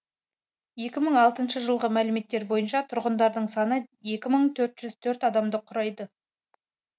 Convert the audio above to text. екі мың алтыншы жылғы мәліметтер бойынша тұрғындарының саны екі мың төрт жүз төрт адамды құрайды